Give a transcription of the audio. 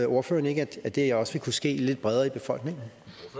ordføreren ikke at det også vil kunne ske lidt bredere i befolkningen